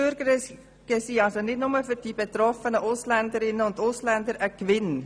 Einbürgerungen sind nicht nur für die betroffenen Ausländer und Ausländerinnen ein Gewinn.